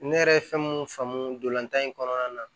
Ne yɛrɛ ye fɛn mun faamu dolan in kɔnɔna na